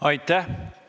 Aitäh!